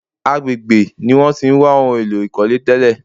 Agbègbè ní wọ́n tí ń wá ohun èlò ìkọ́lé tẹ́lè.